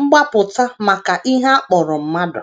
mgbapụta maka ihe a kpọrọ mmadụ.